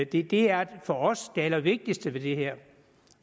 det det er for os det allervigtigste ved det her